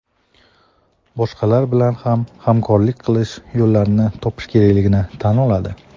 boshqalar bilan ham hamkorlik qilish yo‘llarini topish kerakligini tan oladi.